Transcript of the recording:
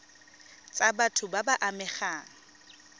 tsa batho ba ba amegang